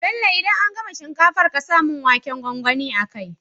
Bello idan an gama shinkafar ƙasa mun waken gwangwani a kai